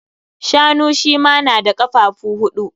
Shanu shi ma na da kafafu huɗu.